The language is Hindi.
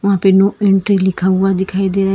वहां पे नो एंट्री लिखा हुआ दिखाई दे रहा है।